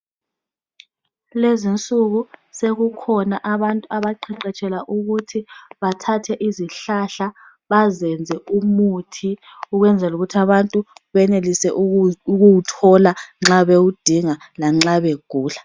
Kulezinsuku sekukhona abantu abaqeqetshela ukuthi bathathe izihlahla bazenze umuthi ukwenzela ukuthi abantu benelise ukuwuthola nxa bewudinga lanxa begula.